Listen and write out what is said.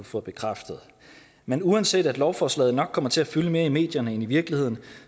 få bekræftet men uanset at lovforslaget nok kommer til at fylde mere i medierne end i virkeligheden